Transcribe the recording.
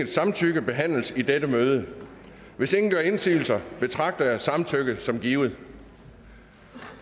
samtykke behandles i dette møde hvis ingen gør indsigelse betragter jeg samtykket som givet